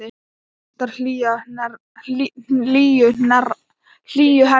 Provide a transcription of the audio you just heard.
Vantar hlýju hennar.